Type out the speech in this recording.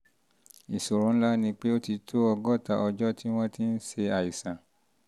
ìṣòro ńlá ni pé ó ti tó ọgọ́ta ọjọ́ tí wọ́n ti ń ṣe ṣe àìsàn